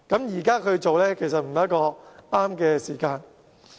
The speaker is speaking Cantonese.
如果現時做，其實並非適當的時候。